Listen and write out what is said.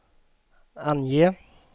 ange